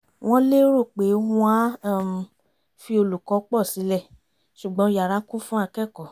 wọ́n lérò pé wọn á um fi olùkọ́ pọ̀ sílẹ̀ ṣùgbọ́n yara kún fún akẹ́kọ̀ọ́